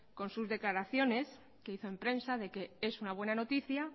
con sus declaraciones que hizo en prensa de que es una buena noticia